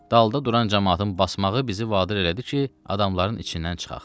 Dalda duran camaatın basmağı bizi vadar elədi ki, adamların içindən çıxaq.